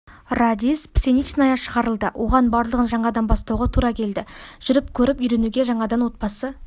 радист пшеничная шығарылды оған барлығын жаңадан бастауға тура келді жүріп көріп үйренуге жаңадан отбасы